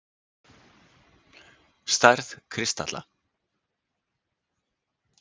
Stærð kristalla